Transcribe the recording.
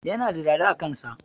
Yana da dada a kan sa